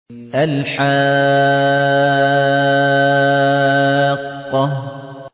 الْحَاقَّةُ